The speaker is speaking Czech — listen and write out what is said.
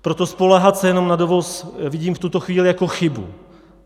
Proto spoléhat se jenom na dovoz vidím v tuto chvíli jako chybu.